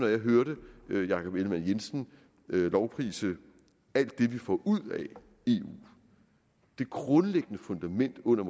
jeg hørte herre jakob ellemann jensen lovprise alt det vi får ud af eu det grundlæggende fundament under